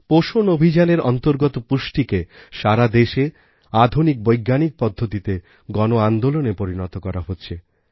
পোষণ অভিযানএর অন্তর্গত পুষ্টিকে সারা দেশে আধুনিক বৈজ্ঞানিক পদ্ধতিতে গণআন্দোলনে পরিণত করা হচ্ছে